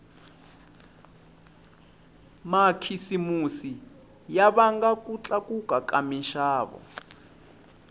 makhisimusi ya vanga ku tlakuka ka minxavo